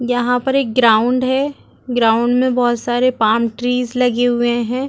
यहाँ पर एक ग्राउंड है ग्राउंड में बहुत सारे पाम ट्रीस लगे हुए है।